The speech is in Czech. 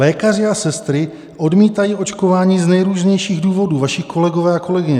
Lékaři a sestry odmítají očkování z nejrůznějších důvodů, vaši kolegové a kolegyně.